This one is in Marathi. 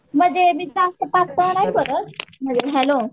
म्हणजे मी जास्त पातळ नाही करत हॅलो